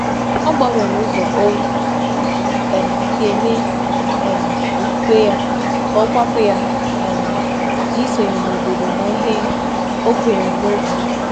Ọ gbanwere ụzọ o si eme okwukwe ya ka ọ kwàpụ̀ ya na isonye n’obodo na ihe ọ kweere n’obí ya.